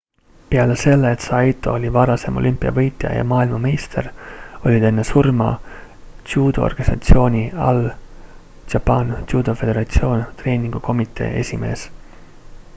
peale selle et saito oli varasem olümpiavõitja ja maailmameister oli ta enne surma judoorganisatsiooni all japan judo federation treeningukomitee esimees